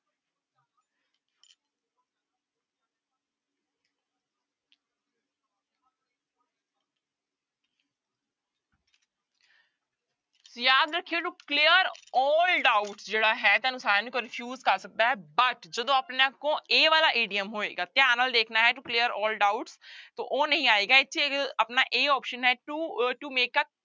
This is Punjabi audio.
ਯਾਦ ਰੱਖਿਓ to clear all doubt ਜਿਹੜਾ ਹੈ ਤੁਹਾਨੂੰ ਸਾਰਿਆਂ ਨੂੰ confuse ਕਰ ਸਕਦਾ ਹੈ but ਜਦੋਂ ਆਪਣੇ ਕੋਲ ਇਹ ਵਾਲਾ idiom ਹੋਏਗਾ ਧਿਆਨ ਨਾਲ ਦੇਖਣਾ ਹੈ to clear all doubt ਤੋ ਉਹ ਨਹੀਂ ਆਏਗਾ ਇੱਥੇ ਇੱਕ ਆਪਣਾ a option ਹੈ to uh to make a